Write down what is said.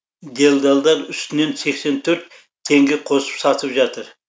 делдалдар үстінен сексен төрт теңге қосып сатып жатыр